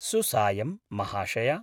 सुसायं महाशय!